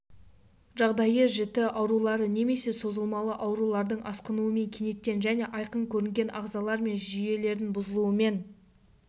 жағдайы жіті аурулары немесе созылмалы аурулардың асқынуымен кенеттен және айқын көрінген ағзалар мен жүйелердің бұзылуымен